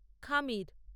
খামির